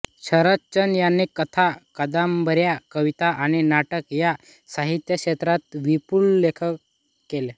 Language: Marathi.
शरदचंद्र यांनी कथा कादंबर्या कविता आणि नाटक या साहित्यक्षेत्रात विपुल लेखन केले